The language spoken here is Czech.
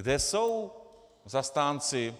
Kde jsou zastánci